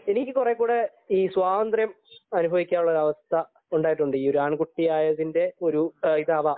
എനിക്ക് കുറേക്കൂടെ ഈ സ്വാതന്ത്ര്യം അനുഭവിക്കാനുള്ള അവസ്ഥ ഉണ്ടായിട്ടുണ്ട് ആണ്കുട്ടിയായതിന്റെ ഇതാവാം